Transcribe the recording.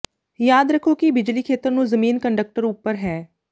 ਯਾਦ ਰੱਖੋ ਕਿ ਬਿਜਲੀ ਖੇਤਰ ਨੂੰ ਜ਼ਮੀਨ ਕੰਡਕਟਰ ਉਪਰ ਹੈ